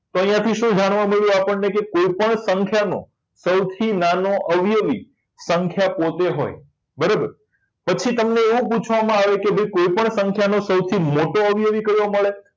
અહીંયા થી શું આપણને જાણવા મળ્યું કે કોઈપણ સંખ્યાનો સૌથી નાનો અવયવી સંખ્યા પોતે હોય બરાબર પછી તમને એવું પૂછવામાં આવે કે કોઈપણ સંખ્યાનો સૌથી મોટો અવયવી કયો મળે